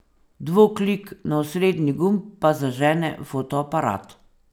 Dvoklik na osrednji gumb pa zažene fotoaparat.